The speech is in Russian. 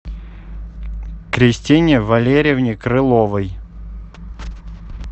кристине валерьевне крыловой